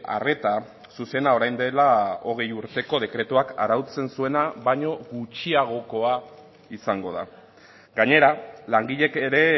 arreta zuzena orain dela hogei urteko dekretuak arautzen zuena baino gutxiagokoa izango da gainera langileek ere